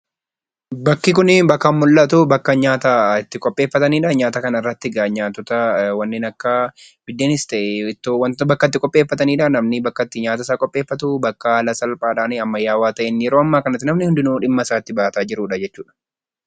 Bakki kun bakka mul'atu bakka nyaata itti qopheeffatanidha. Nyaata kanarratti egaa biddeenis ta'ee ittoo bakka itti qopheeffatanidha. Mamni bakka itti yaata isaa qopheefftu haala salphaa fi ammayaawaa ta'een kan namni hundumtuu dhimma isaa itti bahachaa jirudha jechudha.